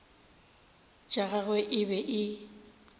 tša gagwe e be e